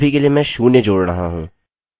अभी के लिए मैं शून्य जोड़ रहा हूँ